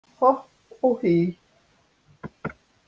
Hopp og hí